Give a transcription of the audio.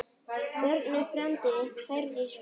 Bjarni frændi, Herdís frænka.